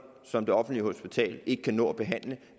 som det offentlige hospital ikke kan nå at behandle